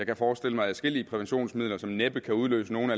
kan forestille mig adskillige præventionsmidler som næppe kan udløse nogle